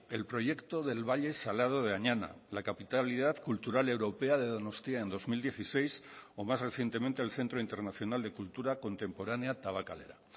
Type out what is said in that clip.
el proyecto del valle salado de añana la capitalidad cultural europea de donostia en dos mil dieciséis o más recientemente el centro internacional de cultura contemporánea tabakalera